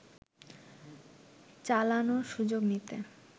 চালানোর সুযোগ নিতে